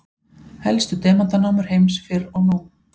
helstu demantanámur heims fyrr og nú